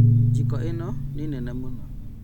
Njiko ĩno nĩ nene mũno